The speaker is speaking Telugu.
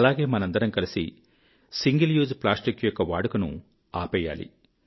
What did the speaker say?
అలాగే మనమందరం కలిసి సింగిల్ యూజ్ ప్లాస్టిక్ యొక్క వాడుకను ఆపేయాలి